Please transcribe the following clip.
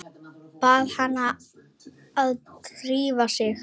Bað hana að drífa sig.